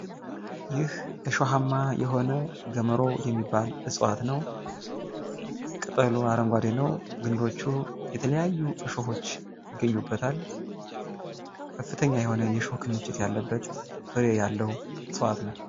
ይህ እሾሃማ የሆነ ግመሮ የሚባል እጽዋት ነው። ቅጠሉ አረንጓዴ ነው። ቅንዶቹ የተለያዩ እሾሆች ይገኙበታል። ከፍተኛ የሆነ የእሾህ ክምችት ያለበት ፍሬ ያለው እጽዋት ነው።